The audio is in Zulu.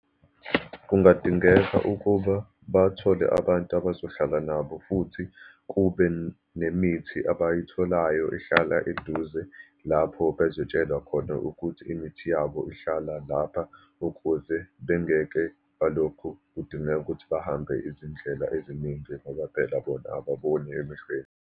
Kungadingeka ukuba bathole abantu abazohlala nabo, futhi kube nemithi abayitholayo ihlala eduze lapho bezotshelwa khona ukuthi imithi yabo ihlala lapha, ukuze bengeke balokhu kudingeka ukuthi bahambe izindlela eziningi, ngoba phela bona ababoni emehlweni.